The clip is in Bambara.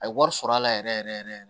A ye wari sɔrɔ a la yɛrɛ yɛrɛ yɛrɛ